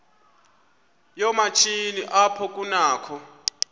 yoomatshini apho kunakho